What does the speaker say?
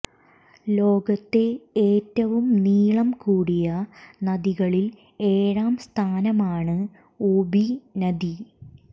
ലോകത്തെ ഏറ്റവും നീളം കൂടിയ നദികളിൽ ഏഴാം സ്ഥാനത്താണ് ഓബി നദി